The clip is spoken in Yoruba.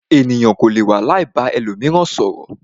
Ènìyàn kò lè wà láì ba ẹlòmíràn sọ̀rọ̀.